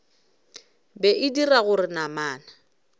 be e dira gore namana